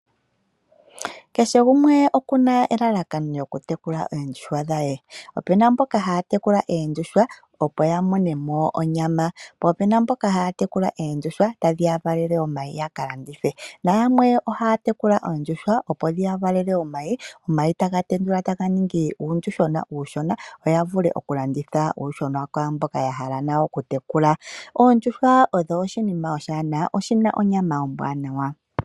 Keshe gumwe okuna elalakano lyoku tekula eendjuhwa dhaye. Opena mboka haya tekulu eendjuhwa opo ya mone mo onyama, po opena mboka haya tekulu oondjuhwa tadhi ya valele omayi yaka landithe. Nayamwe oha ya tekula oondjuhwa opo dhi ya valele omayi, omayi taga tendulu taga ningi uundjuhwena uushona, opo ya vule okulanditha uuyuhwena kwaamboka ya hala nayo okutekula. Oondjuhwa odho oshinima oshiwanawa, oshi na onyama ombwanawa.